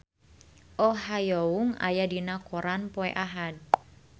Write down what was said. Oh Ha Young aya dina koran poe Ahad